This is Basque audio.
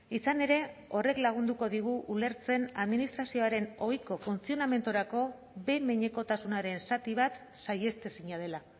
izan ere horrek lagunduko digu ulertzen administrazioaren ohiko funtzionamendurako behin behinekotasunaren zati bat saihestezina dela